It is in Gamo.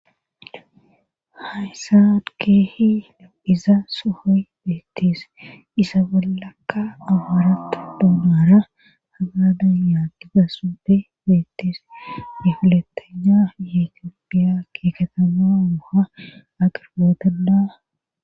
Haysaad keehi deu'iza sohoy beettise isa bollakka amaaratta duunara hagadan yaadiga supe beettis bifilettenya yetippiya keeketana oha aqirboodanda.